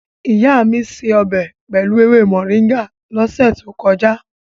Ìyá mi se ọbẹ̀ pẹ̀lú ewé Moringa lọ́sẹ̀ tó kọjá.